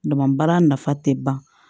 Dama baara nafa tɛ ban